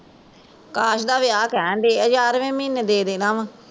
ਅਕਾਸ਼ ਦਾ ਕਹਣਦੇ ਆ ਗਿਆਰਵੇ ਮਹੀਨੇ ਦੇ ਦੇਣਾ ਵਾ